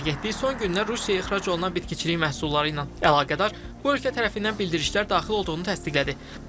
Agentlik son günlər Rusiyaya ixrac olunan bitkiçilik məhsulları ilə əlaqədar bu ölkə tərəfindən bildirişlər daxil olduğunu təsdiqlədi.